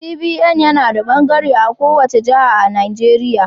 CBN yana da bangare a kowace jiha a Najeriya.